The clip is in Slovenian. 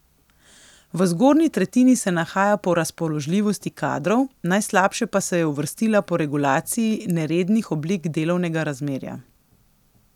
V zgornji tretjini se nahaja po razpoložljivosti kadrov, najslabše pa se je uvrstila po regulaciji nerednih oblik delovnega razmerja.